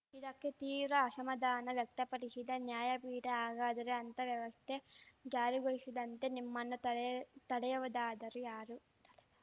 ಇದಕ್ಕೆ ತೀವ್ರ ಅಶಮಾಧಾನ ವ್ಯಕ್ತಪಡಿಶಿದ ನ್ಯಾಯಪೀಠ ಹಾಗಾದರೆ ಅಂಥ ವ್ಯವಸ್ಥೆ ಜಾರಿಗೊಳಿಶದಂತೆ ನಿಮ್ಮನ್ನು ತಡೆದವರಾದರೂ ಯಾರು ತಡೆದ